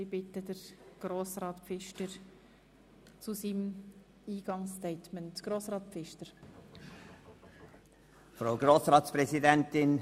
Ich bitte den Motionär Grossrat Pfister sein Eingangsstatement zu halten.